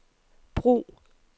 brug